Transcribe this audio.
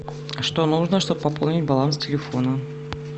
что нужно чтоб пополнить баланс телефона